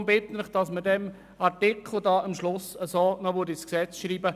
Deshalb bitte ich Sie, diesen Artikel am Schluss noch ins Gesetz zu schreiben.